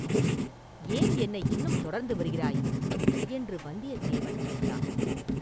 “ஏன் என்னை இன்னும் தொடர்ந்து வருகிறாய்?” என்று வந்தியத்தேவன் கேட்டான்.